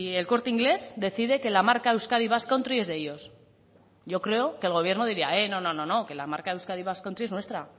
el corte inglés decide que la marca euskadi basque country es de ellos yo creo que el gobierno diría no no no no que la marca euskadi basque country es nuestra